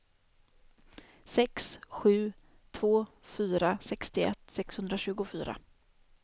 sex sju två fyra sextioett sexhundratjugofyra